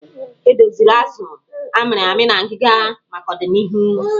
E doziri azụ a mịrị amị na ngịga maka odịnihu.